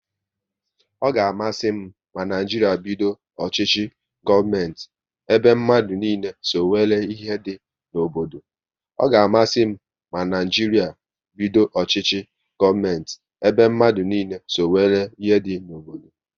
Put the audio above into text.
Ọ ga amasị m ma Naijiria bido ọchịchị gọọmenti ebe mmadụ niile so nwéré ihe dị n'obodo